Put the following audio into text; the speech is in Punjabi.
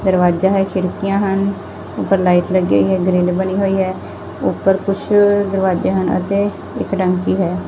ਦਰਵਾਜ਼ਾ ਹੈ ਖਿੜਕੀਆਂ ਹਨ ਉੱਪਰ ਲਾਈਟ ਲੱਗੀ ਹੋਈ ਏ ਗਰਿਲ ਬਣੀ ਹੋਈ ਐ ਉੱਪਰ ਕੁਛ ਦਰਵਾਜੇ ਹਨ ਅਤੇ ਇੱਕ ਟੰਕੀ ਹੈ।